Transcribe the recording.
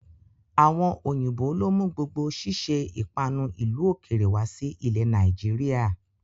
Àwọn òyìnbó lo mú gbogbo sise ìpanu ìlú ó kéré wá sí ilẹ̀ Nàìjíríà.